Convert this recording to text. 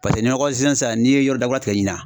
ni sisan n'i ye yɔrɔ dakura tigɛ ɲinan